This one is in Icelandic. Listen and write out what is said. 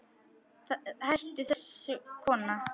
Hættu þessu kona!